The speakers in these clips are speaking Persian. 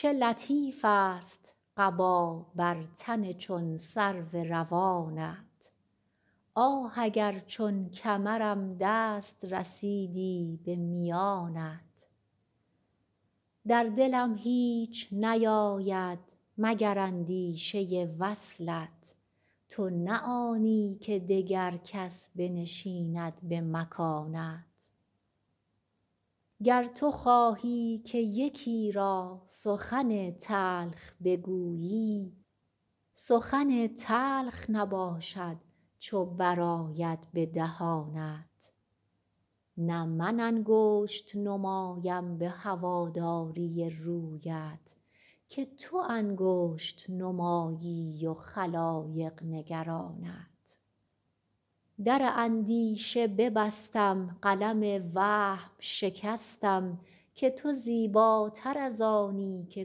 چه لطیفست قبا بر تن چون سرو روانت آه اگر چون کمرم دست رسیدی به میانت در دلم هیچ نیاید مگر اندیشه وصلت تو نه آنی که دگر کس بنشیند به مکانت گر تو خواهی که یکی را سخن تلخ بگویی سخن تلخ نباشد چو برآید به دهانت نه من انگشت نمایم به هواداری رویت که تو انگشت نمایی و خلایق نگرانت در اندیشه ببستم قلم وهم شکستم که تو زیباتر از آنی که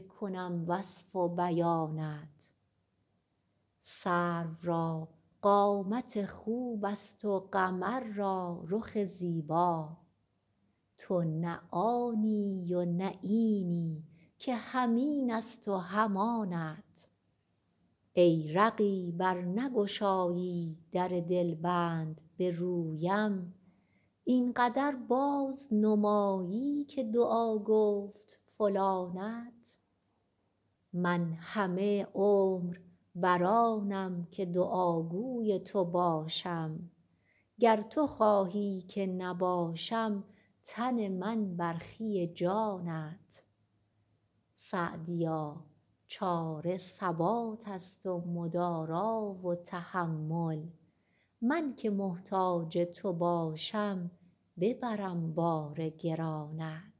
کنم وصف و بیانت سرو را قامت خوبست و قمر را رخ زیبا تو نه آنی و نه اینی که هم اینست و هم آنت ای رقیب ار نگشایی در دلبند به رویم این قدر بازنمایی که دعا گفت فلانت من همه عمر بر آنم که دعاگوی تو باشم گر تو خواهی که نباشم تن من برخی جانت سعدیا چاره ثباتست و مدارا و تحمل من که محتاج تو باشم ببرم بار گرانت